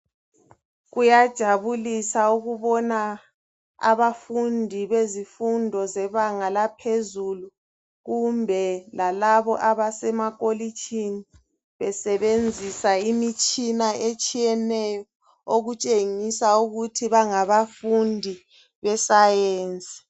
Kuyajabulisa ukubona, abafundi bezifundo zebanga langaphezulu, kumbe lalabo abasemakolitshini, besebenzisa imitshina etshiyeneyo, okutshengisa ukuthi bangabafundi be science.